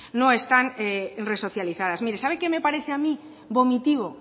no están resocializadas mire sabe qué me parece a mí vomitivo